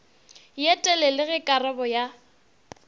ye telele ge karabo ya